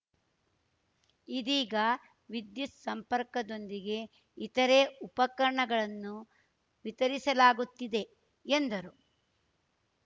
ಇದೀಗ ವಿದ್ಯುತ್‌ ಸಂಪರ್ಕದೊಂದಿಗೆ ಇತರೆ ಉಪಕರಣಗಳನ್ನು ವಿತರಿಸಲಾಗುತ್ತಿದೆ ಎಂದರು